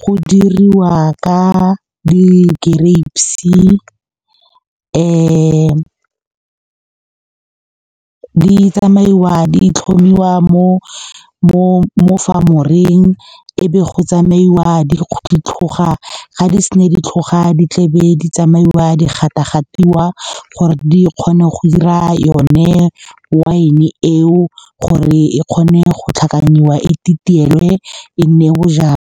go diriwa ka di-grapes. Di tsamaiwa di tlhomiwa mo farm-oreng, e be go tsamaiwa di tlhoga-tlhoga. Ga di se na di tlhoga, di tle di tsamaiwa di gata-gatiwa gore di kgone go 'ira yone wine eo, gore e kgone go tlhakanyiwa, e titielwe e nne bojalwa.